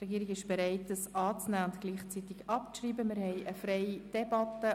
Die Regierung ist zur Annahme mit gleichzeitiger Abschreibung bereit.